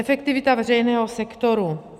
Efektivita veřejného sektoru.